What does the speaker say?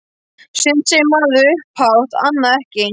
Sumt segir maður upphátt- annað ekki.